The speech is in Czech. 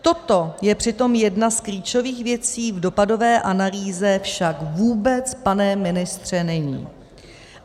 Toto je přitom jedna z klíčových věcí, v dopadové analýze však vůbec, pane ministře, není.